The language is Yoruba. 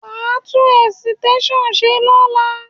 Wà á tún ẹ̀sìtẹ́ṣàn ṣe lọ́la!